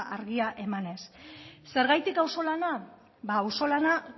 argia emanez zergatik auzo lana ba auzo lana